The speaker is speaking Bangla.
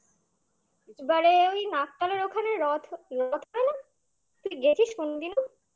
এবারে ওই নাকতলার ওখানে রথ রথ হয় না? তুই গেছিস কোনদিনও?